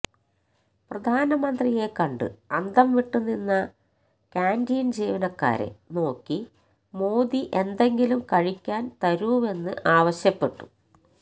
പ്രധാനമന്ത്രിയെ കണ്ട് അന്തംവിട്ടുനിന്ന കാന്റീൻ ജീവനക്കാരെ നോക്കി മോദി എന്തെങ്കിലും കഴിക്കാൻ തരൂവെന്ന് ആവശ്യപ്പെട്ടു